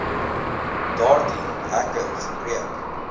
daardie hekke gebreek